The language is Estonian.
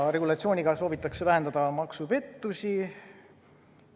Regulatsiooniga soovitakse vähendada maksupettusi.